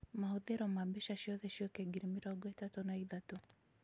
mahũthĩro ma mbeca ciothe ciuke ngiri mĩrongo itatũ na ithatũ